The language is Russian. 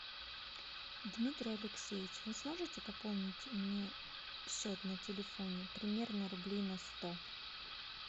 дмитрий алексеевич вы сможете пополнить мне счет на телефоне примерно рублей на сто